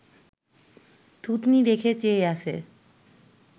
থুতনি রেখে চেয়ে আছে